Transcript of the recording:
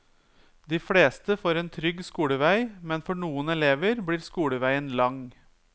De fleste får en trygg skolevei, men for noen elever blir skoleveien lang.